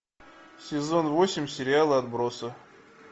сезон восемь сериала отбросы